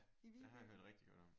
Ja det har jeg hørt rigtig godt om